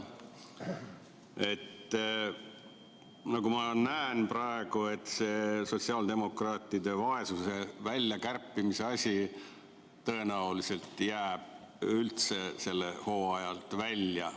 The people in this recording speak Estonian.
Nagu ma praegu näen, jääb see sotsiaaldemokraatide vaesuse välja kärpimise asi tõenäoliselt üldse sellel hooajal välja.